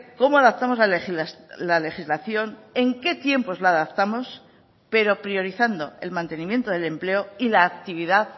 cómo adaptamos la legislación en qué tiempos la adaptamos pero priorizando el mantenimiento del empleo y la actividad